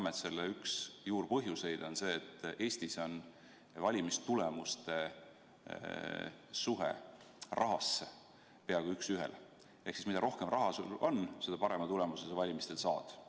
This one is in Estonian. Me teame, et üks selle juurpõhjuseid on see, et Eestis sõltuvad valimistulemused rahast peaaegu üks ühele: mida rohkem raha sul on, seda parema tulemuse sa valimistel saad.